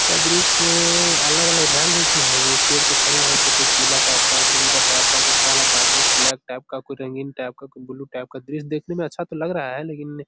यह दृश्य अलग-अलग रंग है इसमें है जी पेड़ में खड़े है तो कोई पीला टाइप का है कोई उजला टाइप कोई काला का कोई ब्लैक टाइप का कोई रंगीन टाइप का कोई ब्लू टाइप का दृश्य देखने में अच्छा तो लग रहा है। लेकिन --